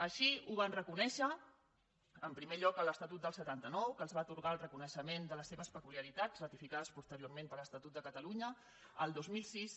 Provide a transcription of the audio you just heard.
així ho van reconèixer en primer lloc a l’estatut del setanta nou que els va atorgar el reconeixement de les seves peculiaritats ratificades posteriorment per l’estatut de catalunya el dos mil sis